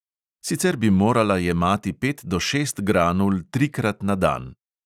Sicer bi morala jemati pet do šest granul trikrat na dan.